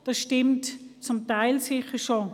Das stimmt zum Teil sicher schon.